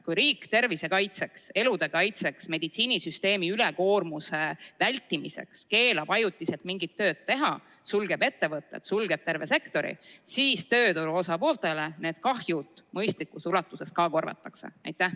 Kui riik tervise kaitseks, elude kaitseks, meditsiinisüsteemi ülekoormuse vältimiseks keelab ajutiselt mingit tööd teha, sulgeb ettevõtted, sulgeb terve sektori, kas siis tööturu osapooltele need kahjud mõistlikus ulatuses korvatakse?